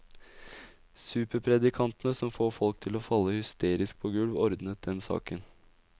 Superpredikantene som får folk til å falle hysterisk på gulv ordnet den saken.